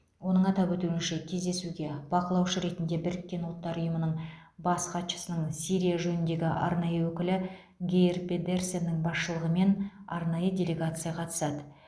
оның атап өтуінше кездесуге бақылаушы ретінде біріккен ұлттар ұйымының бас хатшысының сирия жөніндегі арнайы өкілі гейр педерсеннің басшылығымен арнайы делегация қатысады